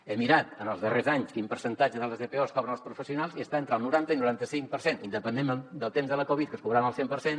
he mirat en els darrers anys quin percentatge de les dpos cobren els professionals i està entre el noranta i el noranta cinc per cent independentment del temps de la covid que es cobraven al cent per cent